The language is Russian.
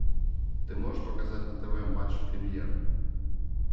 ты можешь показать на тв матч премьер